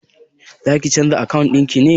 Zaki canza akawun ɗin naki ne?